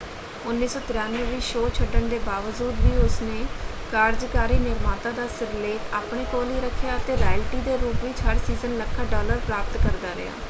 1993 ਵਿੱਚ ਸ਼ੋਅ ਛੱਡਣ ਦੇ ਬਾਵਜੂਦ ਵੀ ਉਸਨੇ ਕਾਰਜਕਾਰੀ ਨਿਰਮਾਤਾ ਦਾ ਸਿਰਲੇਖ ਆਪਣੇ ਕੋਲ ਹੀ ਰੱਖਿਆ ਅਤੇ ਰਾਇਲਟੀ ਦੇ ਰੂਪ ਵਿੱਚ ਹਰ ਸੀਜ਼ਨ ਲੱਖਾਂ ਡਾਲਰ ਪ੍ਰਾਪਤ ਕਰਦਾ ਰਿਹਾ।